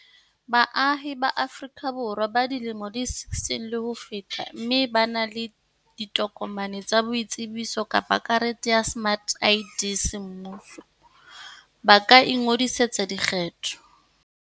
Baahi ba Aforika Borwa ba dilemo di 16 le ho feta mme ba na le tokomane ya boitsebiso kapa karete ya smart ID semmuso, ba ka ingodisetsa dikgetho.